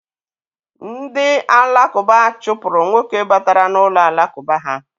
Ndị alakụba chụpụrụ nwoke batara n'ụlọ alakụba ha.